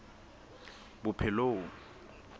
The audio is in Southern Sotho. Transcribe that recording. bophelong